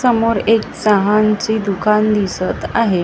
समोर एक चहाचे दुकानं दिसतं आहे.